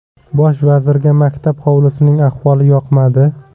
Bosh vazirga maktab hovlisining ahvoli yoqmadi.